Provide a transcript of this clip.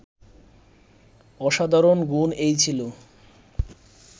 অসাধারণ গুণ এই ছিল